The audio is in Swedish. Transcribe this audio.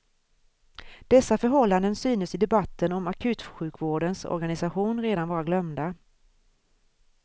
Dessa förhållanden synes i debatten om akutsjukvårdens organisation redan vara glömda.